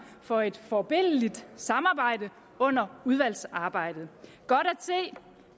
for et forbilledligt samarbejde under udvalgsarbejdet godt